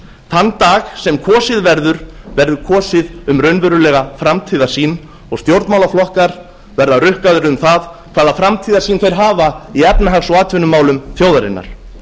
þann dag sem kosið verður verður kosið um raunverulega framtíðarsýn og stjórnmálaflokkar verða rukkaðir um það hvaða framtíðarsýn þeir hafa í efnahags og atvinnumálum þjóðarinnar